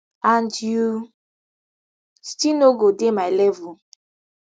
and you still no go dey my level